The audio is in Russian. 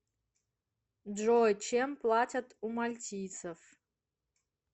джой чем платят у мальтийцев